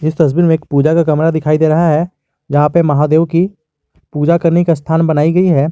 इस तस्वीर में एक पूजा का कमरा दिखाई दे रहा है जहां पे महादेव की पूजा करने का स्थान बनाई गई है।